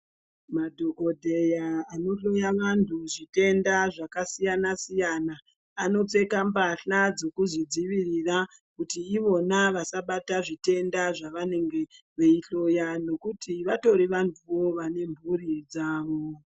Madhokodheya anohloya vantu zviténda zvakasiyana siyana anopfeka mbahla dzekuzvidziirira kuti ivona vasabata zvitenda zvavanenge veihloya nekuti vatori vantuwo vane mhuri dzawo.